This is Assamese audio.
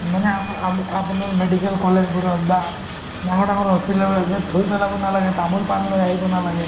মানে আমা~ আমু~ আপোনাৰ medical college বোৰত বা ডাঙৰ ডাঙৰ hospital বিলাকত যে থুই পেলাব নালাগে তামোল-পান লৈ আহিব নালাগে